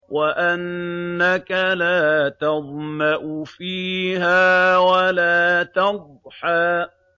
وَأَنَّكَ لَا تَظْمَأُ فِيهَا وَلَا تَضْحَىٰ